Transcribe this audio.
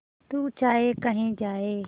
तू चाहे कही जाए